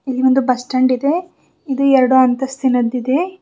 ಇಲ್ಲಿ ಒಂದು bus stand ಇದೆ ಇದು ಎರಡು ಅಂತಸ್ತಿನದ್ದಿದೆ.